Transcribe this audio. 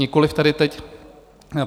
Nikoliv tady teď.